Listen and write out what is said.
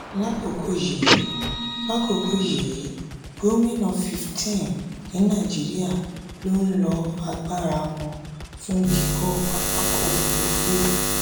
lákòókò yìí lákòókò yìí gómìnà 15 ní nàìjíríà ló ń lo agbára wọn fún kíkọ́ pápákọ̀ òfuurufú.